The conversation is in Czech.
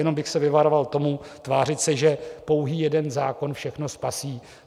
Jenom bych se vyvaroval toho, tvářit se, že pouhý jeden zákon všechno spasí.